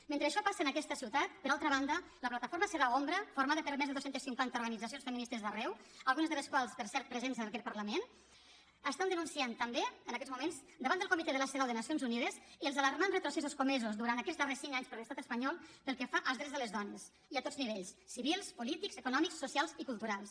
mentre això passa en aquesta ciutat per altra banda la plataforma cedaw ombra formada per més de dos cents i cinquanta organitzacions feministes d’arreu algunes de les quals per cert presents en aquest parlament estan denunciant també en aquests moments davant del comitè de la cedaw de nacions unides els alarmants retrocessos comesos durant aquests darrers cinc anys per l’estat espanyol pel que fa als drets de les dones i a tots nivells civils polítics econòmics socials i culturals